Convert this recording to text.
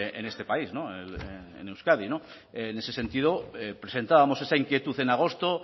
en este país en euskadi en ese sentido presentábamos esa inquietud en agosto